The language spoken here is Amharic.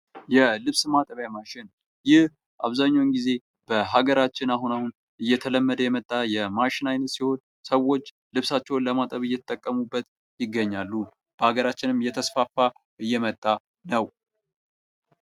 የልብስ ማጠቢያ ማሽን። ይህ አብዛኛውን ጊዜ በሀገራችን አሁን አሁን እየተለመደ የመጣ የማሽን አይነት ሲሆን ሰዎች ልብሳቸውን ለማጠብ እየተጠቀሙበት ይገኛሉ። በሀገራችንም እየተስፋፋ እየመጣ ነው።